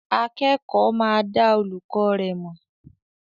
Akẹ́kọ̀ọ́ máa dá olùkọ́ rẹ̀ mọ̀.